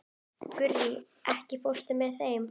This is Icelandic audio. Gurrí, ekki fórstu með þeim?